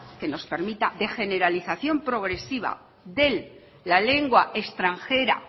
que nos permita de generalización progresiva de la lengua extranjera